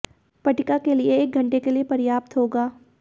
पट्टिका के लिए एक घंटे के लिए पर्याप्त होगा